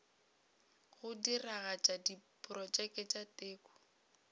go diragatša diprotšeke tša teko